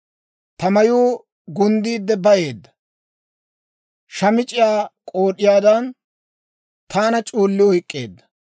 Ta mayuu gunddiide bayeedda; shamic'c'iyaa k'ood'iyaadan, taana c'uulli oyk'k'eedda.